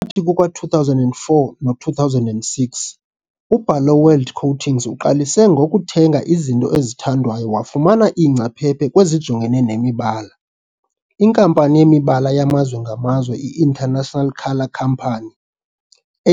Phakathi kuka-2004 no-2006, uBarloworld Coatings uqalise ngokuthenga izinto ezithandwayo wafumana iingcaphephe kwezijongene nemibala, iNkampani yeMibala yamazwe ngamazwe i-International Colour Company,